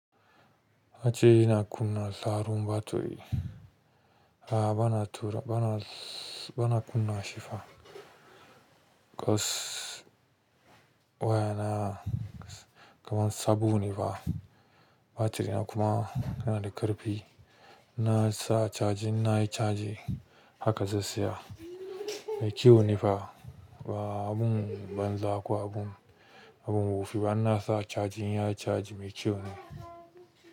Batiri yana kunna sauran batiri. A'a bana tura, bana, bana kunna shi fa. Kos wayana kanan sabo ne fa. Batiri na kuma yana da ƙarfi. Na sa charging na yi caji haka zai saya. Mai kyau ne fa. A'a agun ban za ƙo agun, agun wofi ba ina sa charging ya na caji mai kyau ne.